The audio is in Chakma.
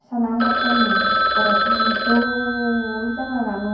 salam gottonne ekkore dol jagahgano.